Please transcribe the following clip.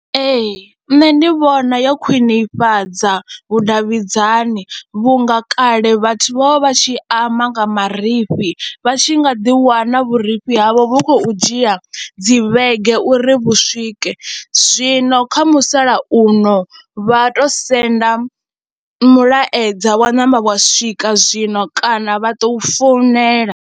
Ee, nṋe ndi vhona yo khwinifhadza vhudavhidzani vhunga kale vhathu vha vha vha tshi amba nga marifhi, vha tshi nga ḓiwana vhurifhi havho vhu khou dzhia dzi vhege uri vha swike, zwino kha musalauno vha tou senda mulaedza wa namba wa swika zwino kana vha tou founela.